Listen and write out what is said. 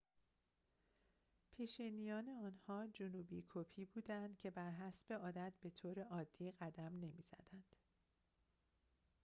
پیشینیان آنها جنوبی‌کپی بودند که بر حسب عادت به‌طور عادی قدم نمی‌زدند